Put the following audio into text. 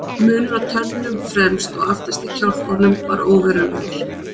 Munur á tönnum fremst og aftast í kjálkunum var óverulegur.